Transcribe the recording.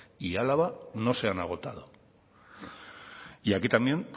y álava no se han agotado y aquí también